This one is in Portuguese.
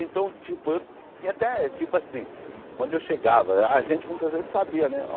Então, tipo, eu tinha até, tipo assim, quando eu chegava, a gente muitas vezes sabia, né ó?